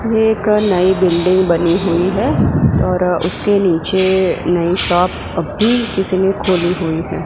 ये एक नई बिल्डिंग बनी हुई है और उसके नीचे नई शॉप अभी किसी ने खोली हुई है।